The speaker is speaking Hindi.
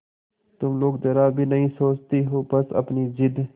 तुम लोग जरा भी नहीं सोचती हो बस अपनी जिद